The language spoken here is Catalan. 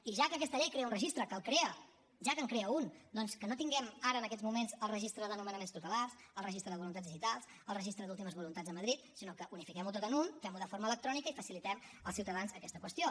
i ja que aquesta llei crea un registre que el crea ja que en crea un doncs que no tinguem ara en aquests moments el registre de nomenaments tutelars el registre de voluntats digitals el registre d’últimes voluntats a madrid sinó que unifiquem ho tot en un fem ho de forma electrònica i facilitem als ciutadans aquesta qüestió